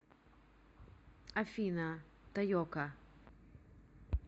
афина тайока